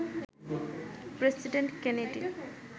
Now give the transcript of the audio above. president Kennedy